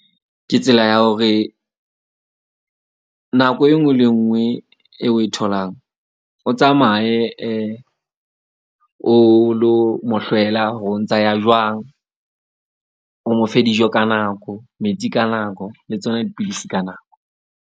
Ke tsela ya hore nako enngwe le enngwe e o e tholang, o tsamaye o lo mo hlwela hore o ntsa ya jwang. O mo fe dijo ka nako, metsi ka nako le tsona dipidisi ka nako.